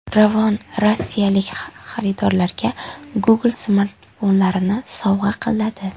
Ravon rossiyalik xaridorlariga Google smartfonlarini sovg‘a qiladi.